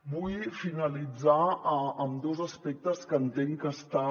vull finalitzar amb dos aspectes que entenc que està